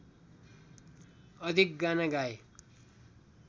अधिक गाना गाए